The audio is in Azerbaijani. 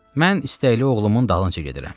Mən istəkli oğlumun dalınca gedirəm.